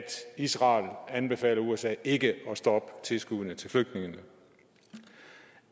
israel anbefaler usa ikke at stoppe tilskuddene til flygtningene